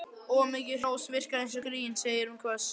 Of mikið hrós virkar eins og grín sagði hún hvöss.